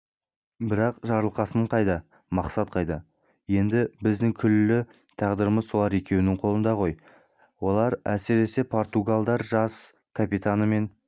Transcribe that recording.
бірақ жарылқасын қайда мақсат қайда енді біздің күллі тағдырымыз сол екеуінің қолында ғой олар әсіресе португал жас капитанмен